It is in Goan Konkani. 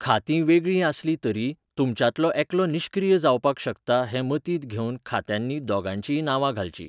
खातीं वेगळीं आसलीं तरीय, तुमच्यांतलो एकलो निश्क्रीय जावपाक शकता हें मतींत घेवन खात्यांनी दोगांयचींय नांवां घालचीं.